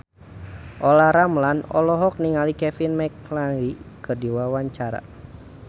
Olla Ramlan olohok ningali Kevin McNally keur diwawancara